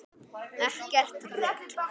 Ekkert rugl!